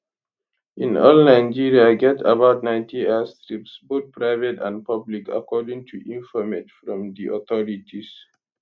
in all nigeria get about 90 airstrips both private and public according to informate from di authorities